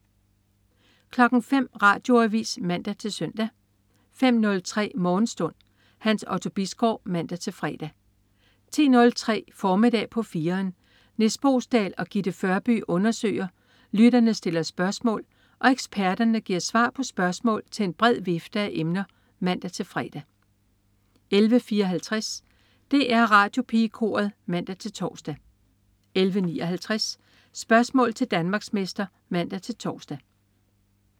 05.00 Radioavis (man-søn) 05.03 Morgenstund. Hans Otto Bisgaard (man-fre) 10.03 Formiddag på 4'eren. Nis Boesdal og Gitte Førby undersøger, lytterne stiller spørgsmål og eksperterne giver svar på spørgsmål til en bred vifte af emner (man-fre) 11.54 DR Radiopigekoret (man-tors) 11.59 Spørgsmål til Danmarksmester (man-tors)